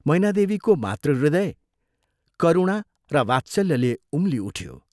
मैनादेवीको मातृहृदय करुणा र वात्सल्यले उम्ली उठ्यो।